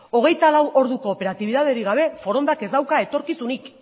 hogeita lau orduko operatibitaterik gabe forondak ez dauka etorkizunik